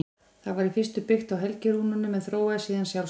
Það var í fyrstu byggt á helgirúnunum en þróaðist síðan sjálfstætt.